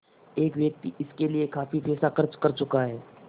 एक व्यक्ति इसके लिए काफ़ी पैसा खर्च कर चुका है